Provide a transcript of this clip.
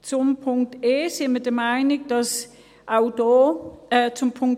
Zu Punkt e: Wir sind der Meinung, dass auch hier … Entschuldigen Sie: